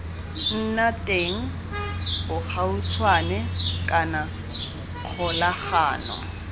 nna teng bogautshwane kana kgolagano